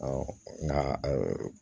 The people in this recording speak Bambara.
nka